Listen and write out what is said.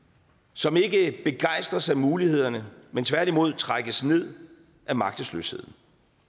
som ikke begejstres af mulighederne men tværtimod trækkes ned af magtesløsheden